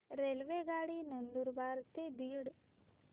रेल्वेगाडी नंदुरबार ते बीड